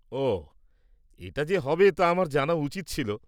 ওহ, এটা যে হবে তা আমার জানা উচিত ছিল।